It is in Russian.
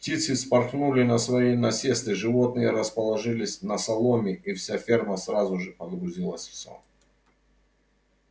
птицы вспорхнули на свои насесты животные расположились на соломе и вся ферма сразу же погрузилась в сон